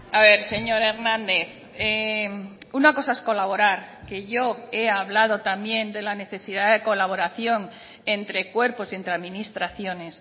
a ver señor hernández una cosa es colaborar que yo he hablado también de la necesidad de colaboración entre cuerpos y entre administraciones